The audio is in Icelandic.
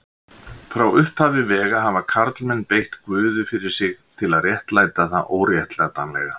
Frá upphafi vega hafa karlmenn beitt guði fyrir sig til að réttlæta það óréttlætanlega.